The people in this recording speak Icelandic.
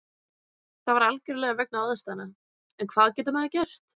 Það var algjörlega vegna aðstæðna, en hvað getur maður gert?